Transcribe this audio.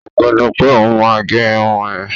Ó pinnu pé òún máa gé irun òún